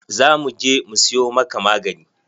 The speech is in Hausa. Za mu je mu siyo maka magani.